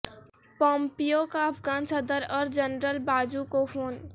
Pompeo کا افغان صدر اور جنرل باجوہ کو فون